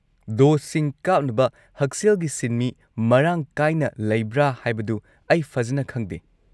ꯗꯣꯁꯁꯤꯡ ꯀꯥꯞꯅꯕ ꯍꯛꯁꯦꯜꯒꯤ ꯁꯤꯟꯃꯤ ꯃꯔꯥꯡ ꯀꯥꯏꯅ ꯂꯩꯕ꯭ꯔꯥ ꯍꯥꯏꯕꯗꯨ ꯑꯩ ꯐꯖꯟꯅ ꯈꯪꯗꯦ꯫